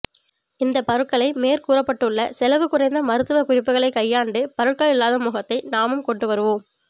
இந்த பருக்களை மேற்கூறப்பட்டுள்ள செலவு குறைந்த மருத்துவ குறிப்புக்களை கையாண்டு பருக்கள் இல்லாத முகத்தை நாமும் கொண்டு வருவோம்